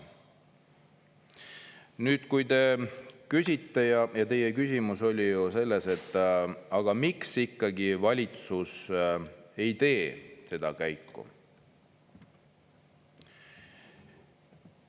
Ja nüüd, kui te küsite, ja teie küsimus oli ju selles, et aga miks ikkagi valitsus ei tee seda käiku.